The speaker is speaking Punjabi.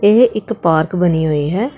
ਯੇ ਇੱਕ ਪਾਰਕ ਬਣੀ ਹੋਈ ਹੈ।